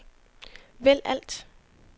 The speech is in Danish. vælg alt